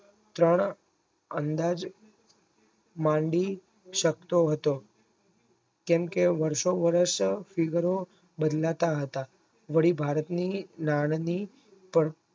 ત્રણ અંદાજ મંડી શકતો હતો કેમ કે વારસો વર્ષ ફીગરો બદલાતા હતા વળી ભારતની નાયમિક